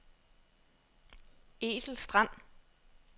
Ethel Strand